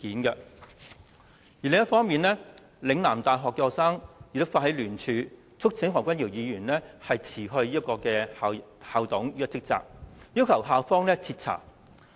另一方面，香港嶺南大學的學生也發起聯署促請何君堯議員辭去校董一職，要求校方徹查。